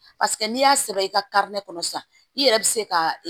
Paseke n'i y'a sɛbɛn i ka kɔnɔ sisan i yɛrɛ bɛ se ka